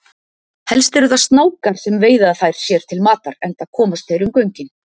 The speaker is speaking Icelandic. Helst eru það snákar sem veiða þær sér til matar enda komast þeir um göngin.